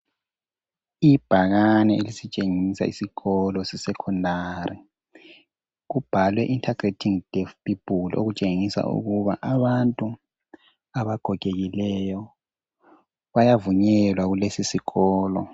Ibhakane elisitshengisa isikolo se secondary kubhalwe integrating deaf people okutshengisa ukuba abantu abagogekileyo bayavunyelwa kulesisikolo